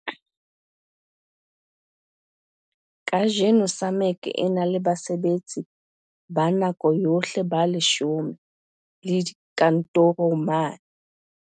Kajeno SAMAG e na le basebetsi ba nako yohle ba 10 le dikantoro mane